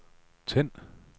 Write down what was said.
tænd